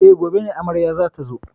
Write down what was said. E, gobe ne amarya za ta zo.